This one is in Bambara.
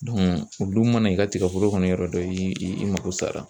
o dun mana i ka tigɛforo kɔni yɔrɔ dɔn i i mako sara.